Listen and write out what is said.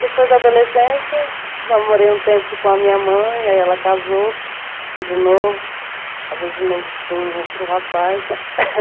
Depois da adolescência, eu morei um tempo com a minha mãe, aí ela casou de novo, casou de novo com outro rapaz, né?